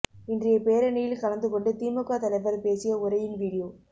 இன்றைய பேரணியில் கலந்து கொண்டு திமுக தலைவர் பேசிய உரையின் வீடியோ